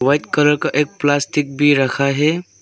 White colour का एक plastic भी रखा है।